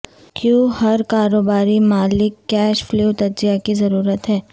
کیوں ہر کاروباری مالک کیش فلو تجزیہ کی ضرورت ہے